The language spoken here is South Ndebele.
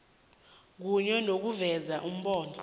kunye nokuveza iimbalo